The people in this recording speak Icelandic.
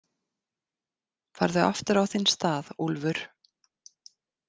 Farðu aftur á þinn stað, Úlfur.